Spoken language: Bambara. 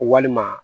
Walima